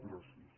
gràcies